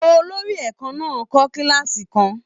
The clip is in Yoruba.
Olórí ẹ̀kan náà kọ́ kílààsì kan.